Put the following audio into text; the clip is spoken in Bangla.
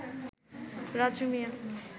রাজু মিয়া